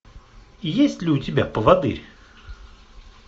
есть ли у тебя поводырь